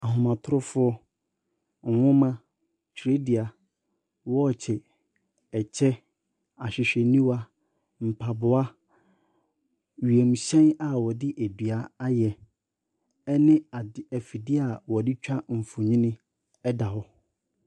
Ahomatorofoɔ, nwoma, twerɛdua, wɔɔkye, ɛkyɛ, ahwehwɛniwa, mpaboa, wiemhyɛn a wɔde dua ayɛ ne ade afidie a wɔde twa mfonini da hɔ.